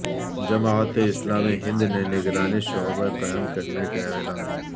جماعت اسلامی ہند نے نگرانی شعبہ قائم کرنے کا اعلان